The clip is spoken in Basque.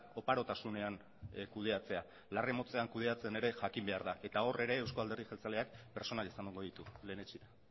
oparotasunean kudeatzea larre motzean kudeatzen ere jakin behar da eta hor ere eusko alderdi jeltzaleak pertsonak izango ditu lehenetsi